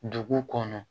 Dugu kɔnɔ